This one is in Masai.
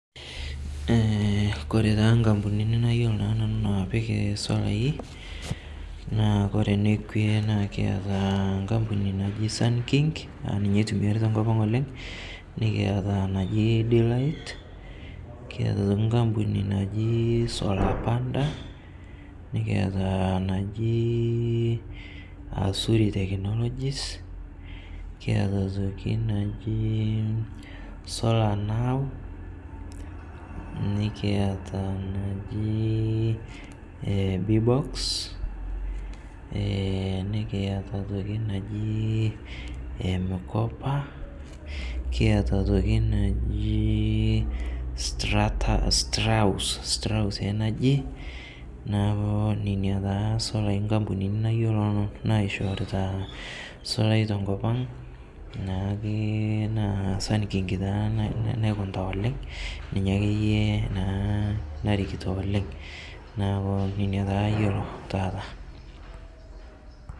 Kore taa nkampunini nayolo naa nanu napik solai naa kore nekwe, naa kiata nkampuni naji Sunking, naa ninye eitumiari tenkopang' oleng' nikiata naji D- light, kiata otoki nkampuni naji solar panda, nikiata naji Zuri technologies, nikiata otoki naji solar Nau, nikiata naji solar B-box enikiata otoki naji Mkopa, kiata otoki naji strater, stra house energy naaku nenia taa solai nkampunini nayoloo naishoorita solai tenkopang' naakeye naa Sunking taa naikunita oleng' ninye akeye naa narikito oleng' naaku inia taa ayeloo taata.